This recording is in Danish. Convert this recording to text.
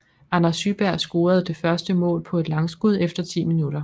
Anders Syberg scorede det første mål på et langskud efter 10 min